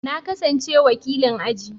Na kasance wakilin aji.